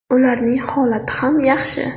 Ularning holati ham yaxshi.